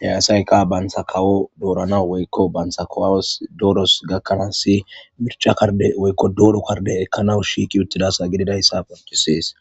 he asaykka bantta kawo dooranaassinne bantas kawos dooros gakkanaas woykko bantta kardde ekkanaw shiiqi uttidayssa gidees.